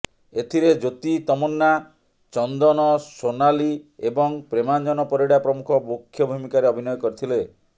ଏଥିରେ ଜ୍ୟୋତି ତମନ୍ନା ଚନ୍ଦନ ସୋନାଲୀଏବଂ ପ୍ରେମାଞ୍ଜନ ପରିଡ଼ା ପ୍ରମୁଖ ମୁଖ୍ୟ ଭୂମିକାରେ ଅଭିନୟ କରିଥିଲେ